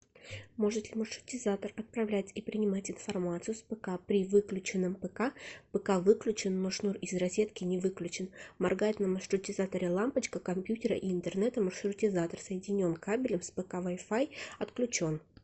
может ли маршрутизатор отправлять и принимать информацию с пк при выключенном пк пк выключен но шнур из розетки не выключен моргает на маршрутизаторе лампочка компьютера и интернета маршрутизатор соединен кабелем с пк вай фай отключен